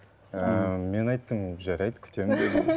ыыы мен айттым жарайды күтемін дедім